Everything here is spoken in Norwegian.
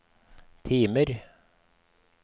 timer